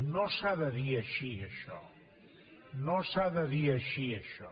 no s’ha de dir així això no s’ha de dir així això